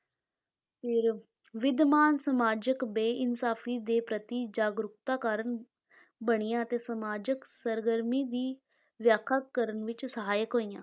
ਫਿਰ ਵਿੱਦਮਾਨ‍ ਸਾਮਾਜਕ ਬੇਇਨਸਾਫ਼ੀ ਦੇ ਪ੍ਰਤੀ ਜਾਗਰੂਕਤਾ ਕਾਰਨ ਬਣੀਆਂ ਅਤੇ ਸਾਮਾਜਕ ਸਰਗਰਮੀ ਦੀ ਵਿਆਖਿਆ ਕਰਨ ਵਿੱਚ ਸਹਾਇਕ ਹੋਈਆਂ।